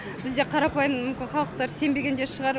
бізде қарапайым мүмкін халықтар сенбеген де шығар